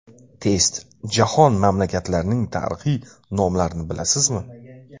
Test: Jahon mamlakatlarining tarixiy nomlarini bilasizmi?.